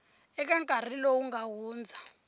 eka nkarhi lowu nga hundza